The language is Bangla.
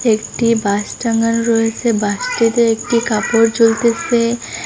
একটি বাঁশ টাঙ্গান রয়েসে বাঁশটিতে একটি কাপড় ঝুলতেসে ।